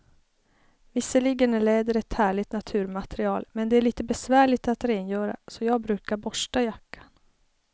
Visserligen är läder ett härligt naturmaterial, men det är lite besvärligt att rengöra, så jag brukar borsta jackan.